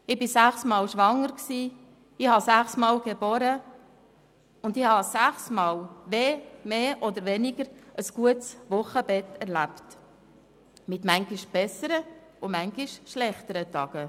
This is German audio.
Ich war sechsmal schwanger, ich habe sechsmal ein Kind geboren, und ich erlebte sechsmal mehr oder weniger ein gutes Wochenbett, mit manchmal besseren und manchmal schlechteren Tagen.